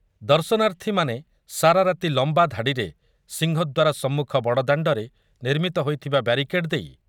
ଦର୍ଶନାର୍ଥୀମାନେ ସାରା ରାତି ଲମ୍ବା ଧାଡି଼ରେ ସିଂହଦ୍ୱାର ସମ୍ମୁଖ ବଡଦାଣ୍ଡରେ ନିର୍ମିତ ହୋଇଥିବା ବ୍ୟାରିକେଡ୍ ଦେଇ